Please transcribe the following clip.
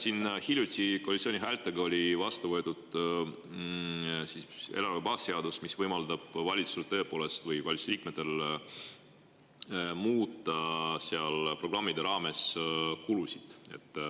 Siin võeti hiljuti koalitsiooni häältega vastu eelarve baasseadus, mis tõepoolest võimaldab valitsusel või valitsuse liikmetel programmide raames kulusid muuta.